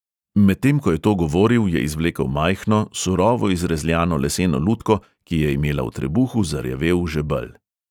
Medtem ko je to govoril, je izvlekel majhno, surovo izrezljano leseno lutko, ki je imela v trebuhu zarjavel žebelj.